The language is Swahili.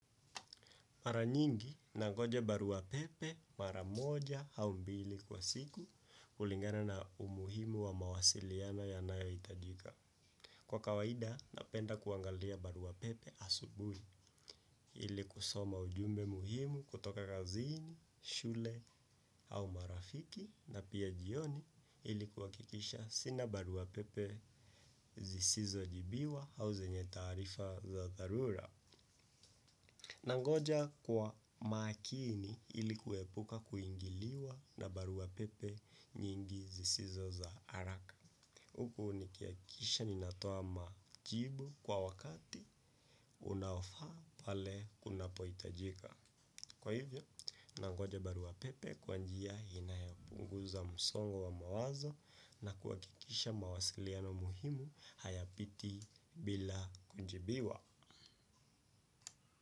Mara nyingi nangoja baruapepe mara moja au mbili kwa siku kulingana na umuhimu wa mawasiliano yanayohitajika. Kwa kawaida napenda kuangalia baruapepe asubuhi ili kusoma ujumbe muhimu kutoka kaziini, shule au marafiki na pia jioni ili kuhakikisha sina baruapepe zisizo jibiwa au zenye taarifa za dharura. Nangoja kwa makini ili kuepuka kuingiliwa na barua pepe nyingi zisizo za haraka. Huku nikihakikisha ninatoa majibu kwa wakati unaofaa pale kunapohitajika. Kwa hivyo, nangoja barua pepe kwa njia inayopunguza msongo wa mawazo na kuhakikisha mawasiliano muhimu hayapiti bila kujibiwa.